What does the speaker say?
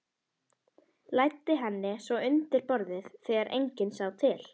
Læddi henni svo undir borðið þegar enginn sá til.